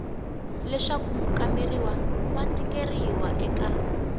leswaku mukamberiwa wa tikeriwa eka